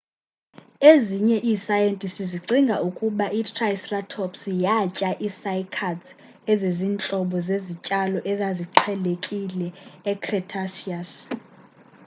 ezinye iisayentisti zicinga ukuba itriceratops yatya ii-cycads ezizintlobo zezityalo ezaziqhelekile ecretaceous